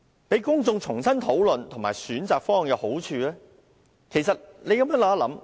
讓公眾重新討論和選擇方案其實有好處。